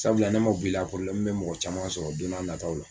Sabula n'o ma bɔ i la bɛ mɔgɔ caman sɔrɔ don n'a nataw la